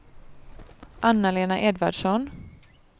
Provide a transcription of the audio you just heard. Anna-Lena Edvardsson